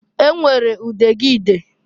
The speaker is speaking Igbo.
E nwere udegide.